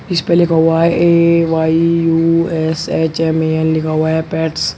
इसपे लिखा हुआ है ए_वाई_यू_एस_एच_एम_ए_एन लिखा हुआ है पेट्स ।